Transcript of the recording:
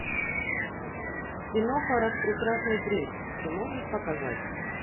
киноха распрекрасный принц ты можешь показать